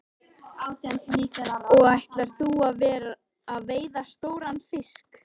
Sindri: Og ætlar þú að veiða stóran fisk?